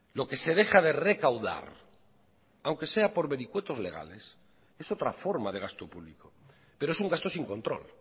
lo que se deja de recaudar aunque sea por vericuetos legales es otra forma de gasto público pero es un gasto sin control